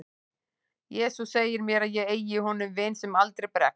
jesús segir mér að ég eigi í honum vin sem aldrei bregst